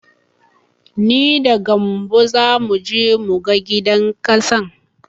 Ni da gambo zamu je mu ga gidan ƙasan.